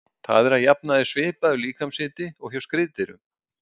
Það er að jafnaði svipaður líkamshiti og hjá skriðdýrum.